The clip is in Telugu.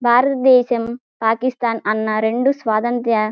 భారత దేశం పాకిస్థాన్ అన్న రెండు స్వతంత్ర--